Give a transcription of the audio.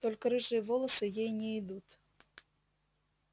только рыжие волосы ей не идут